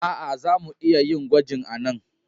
Aa, za mu iya yin gwajin a'nan.